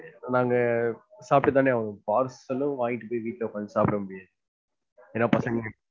நாங்க சாப்பிட்டு தான ஆகனும். பார்சல்லும் வாங்கிட்டு போய் வீட்டுல சாப்புட முடியாது. ஏன்னா பசங்க